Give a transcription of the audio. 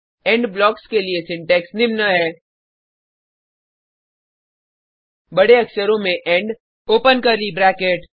end blocks के लिए syntax निम्न है बडे अक्षरों में इंड ओपन कर्ली ब्रैकेट